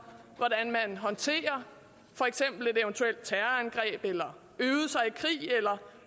hvordan man håndterer for eksempel et eventuelt terrorangreb eller øvede sig i krig eller